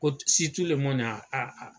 Ko